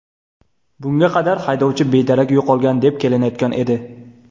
Bunga qadar haydovchi bedarak yo‘qolgan deb kelinayotgan edi.